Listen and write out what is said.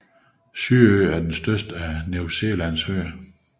Sydøen er den største af New Zealands øer